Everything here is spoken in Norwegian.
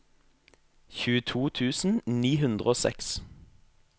tjueto tusen ni hundre og seks